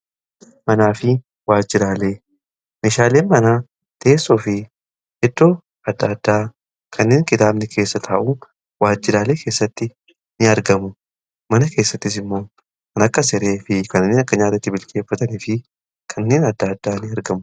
Manaa fi waajjiraalee, meeshaalee mana teessoo fi iddoo adda addaa kanneen kitaabni keessa ta'u waajjiraalee keessatti in argamu. Mana keessattis immoo kan akka siree fi kanneen akka nyaatatti bilcheeffatanii fi kanneen adda addaa in argamu.